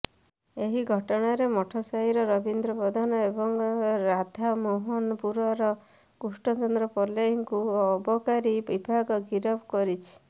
ଏହି ଘଟଣାରେ ମଠସାହିର ରବୀନ୍ଦ୍ର ପ୍ରଧାନ ଏବଂ ରାଧାମୋହନପୁରର କୃଷ୍ଣଚନ୍ଦ୍ର ପଲେଇଙ୍କୁ ଅବକାରୀ ବିଭାଗ ଗିରଫ କରିଛି